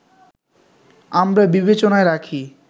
আমরা বিবেচনায় রাখি